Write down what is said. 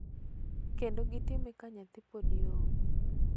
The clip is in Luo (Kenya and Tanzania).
Kendo gitime ka nyathi pod yom.